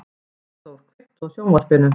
Arnþór, kveiktu á sjónvarpinu.